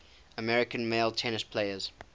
american male tennis players